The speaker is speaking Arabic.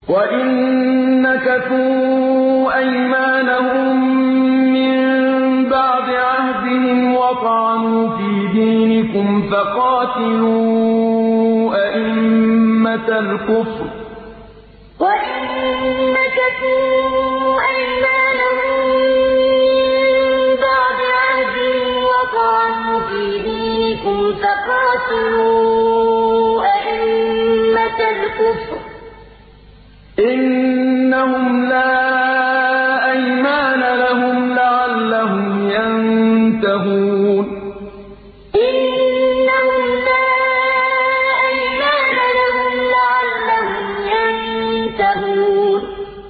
وَإِن نَّكَثُوا أَيْمَانَهُم مِّن بَعْدِ عَهْدِهِمْ وَطَعَنُوا فِي دِينِكُمْ فَقَاتِلُوا أَئِمَّةَ الْكُفْرِ ۙ إِنَّهُمْ لَا أَيْمَانَ لَهُمْ لَعَلَّهُمْ يَنتَهُونَ وَإِن نَّكَثُوا أَيْمَانَهُم مِّن بَعْدِ عَهْدِهِمْ وَطَعَنُوا فِي دِينِكُمْ فَقَاتِلُوا أَئِمَّةَ الْكُفْرِ ۙ إِنَّهُمْ لَا أَيْمَانَ لَهُمْ لَعَلَّهُمْ يَنتَهُونَ